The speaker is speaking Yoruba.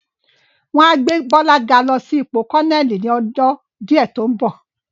Wọ́n á gbé Bọ́lá ga lọ sí ipò Kọ́nẹ́ẹ̀lì ni ọjọ́ díẹ̀ tó ń bọ̀